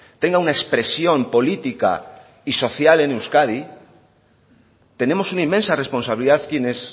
tenga una expresión política y social en euskadi tenemos una inmensa responsabilidad quienes